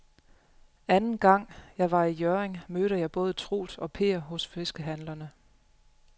Anden gang jeg var i Hjørring, mødte jeg både Troels og Per hos fiskehandlerne.